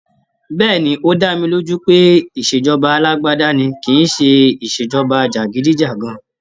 Bẹ́ẹ̀ni, ó dá mi lójú pé ìṣèjọba alágbádá ni kìíse ìṣèjọba jàgídíjàgan